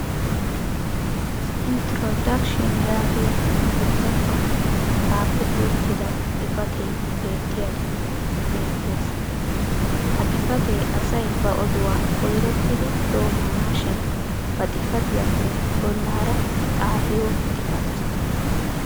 "introduction" yaagiya ingglizzatuwan xaafetti uttida xifatee beettiyaagee beettees. ha xifatee asay ba odduwaa koyrottidi doomanaashin ba xifattiyaappe bolaara xaafiyo xifatte.